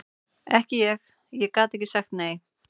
Ekki ég, ég gat ekki sagt nei.